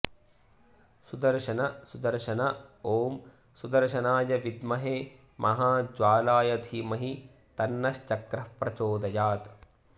सुदर्शन सुदर्शन ॐ सुदर्शनाय विद्महे महाज्वालाय धीमहि तन्नश्चक्रः प्रचोदयात्